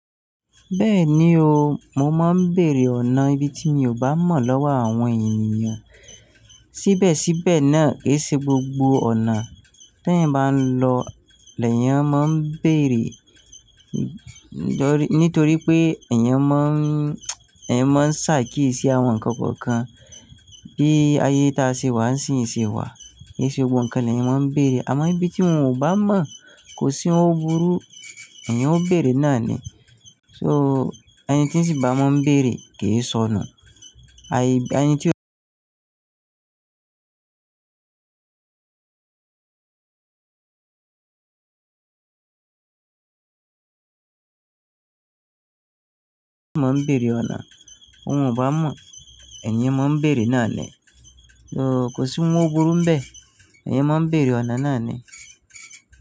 Bẹ́ẹ̀ni o, mo máa ń bèèrè ọ̀nà ibi tí mi ò bá mọ̀ lọ́wọ́ àwọn ènìyàn. Síbẹ̀ síbẹ̀ náà ke í ṣe gbogbo ọ̀nà tí ẹ̀yan bá ń lọ lè yẹn máa ń bèèrè. Nítorí pé ẹ̀yan máa ń, ẹ̀yin máa ń ṣàkíyèsí àwọn nǹkan kọ̀ọ̀kan bí ayé tí a ṣe wà ń ṣe wà. Kì í ṣe gbogbo nǹkan lẹ́yìn máa ń bèèrè. Àmọ́ ibi tí wọn ò bá mọ̀ kò sí ohun gbúru èèyàn ó bèèrè náà ni. So ẹni tí ń sì bá wọ́n ń bèèrè kì í sọ nu. Ayé, ẹni tí ó máa ń bèèrè ọ̀nà óhun o bá mọ̀, èèyàn máa ń bèèrè náà ni. So kò sí ohun gbúru ń bẹ, èèyàn máa ń bèèrè ọ̀nà náà ni.